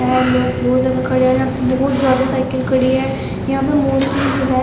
ये लोग बहुत ज्यादा खड़े हैं यहां पे बहुत ज्यादा साइकिल खड़ी है यहां पे मोस्टली जो है।